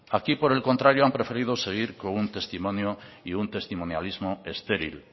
aquí por el contrario han preferido seguir con un testimonio y un testimonialismo estéril